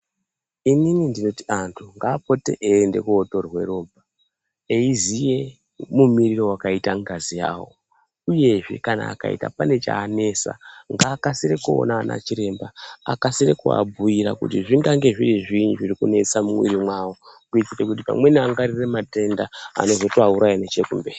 Inini ndinoti antu ngaapote eiende kodhodhwe ropa eziye mumirire wakaita ngazi yawo uyezve kana akaita pane chanesa ngaakasire kuona anachiremba akasire kuabhuyira kuti zvingange zviri zviini zviri kunesa mumwiri mwawo kuitire kuti pamweni angwarire matenda anozotoauraya nechekumberi.